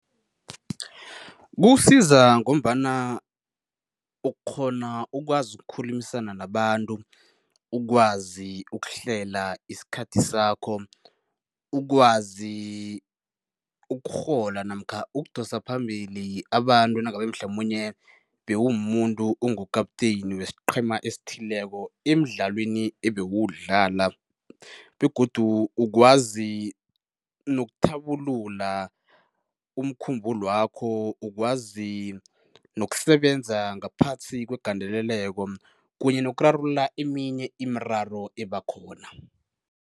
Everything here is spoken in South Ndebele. Kuwusiza ngombana ukghona ukwazi ukukhulumisana nabantu, ukwazi ukuhlela isikhathi sakho, ukwazi ukurhola namkha ukudosa phambili abantu nangabe mhlamunye bewumumuntu ungu-captain wesiqhema esithileko emdlalweni ebewuwudlala begodu ukwazi nokuthabulula umkhumbulwakho, ukwazi nokusebenza ngaphasi kwegandeleleko kunye nokurarulula eminye imiraro eba khona.